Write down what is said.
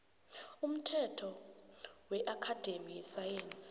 umthetho weakhademi yesayensi